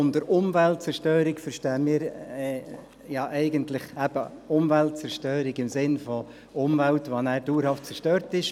Unter Umweltzerstörung verstehen wir eigentlich Umweltzerstörung im Sinn von Umwelt, die dauerhaft zerstört ist.